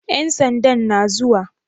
Ƴan sandan na zuwa?